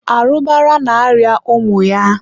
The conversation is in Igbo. arụbara na-arịa ụmụ ya.